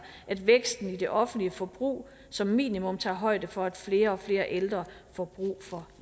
at væksten i det offentlige forbrug som minimum tager højde for at flere og flere ældre får brug for